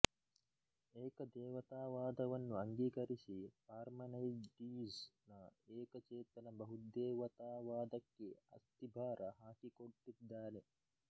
ಏಕದೇವತಾವಾದವನ್ನು ಅಂಗೀಕರಿಸಿ ಪಾರ್ಮೆನೈಡೀಝ್ ನ ಏಕಚೇತನ ಬಹುದೇವತಾವಾದಕ್ಕೆ ಅಸ್ತಿಭಾರ ಹಾಕಿಕೊಟ್ಟಿದ್ದಾನೆ